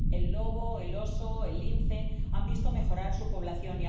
El lobo, el oso, el lince han visto mejorar su población.